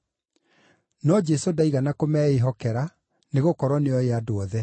No Jesũ ndaigana kũmeĩhokera, nĩgũkorwo nĩooĩ andũ othe.